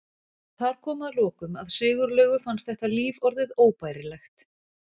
Þar kom að lokum að Sigurlaugu fannst þetta líf orðið óbærilegt.